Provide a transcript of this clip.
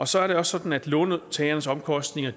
så er det også sådan at låntagerens omkostninger